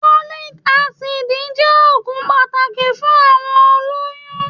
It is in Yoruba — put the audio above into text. Folic acid jẹ́ òògùn pàtàkì fún àwọn olóyún